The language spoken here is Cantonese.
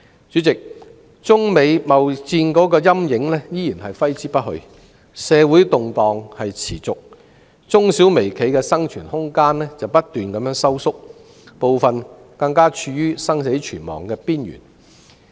主席，中美貿易戰的陰影依然揮之不去，社會動盪持續，中小微企的生存空間不斷收縮，部分更處於生死存亡的邊緣。